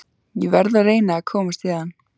Ég verð að reyna að komast héðan.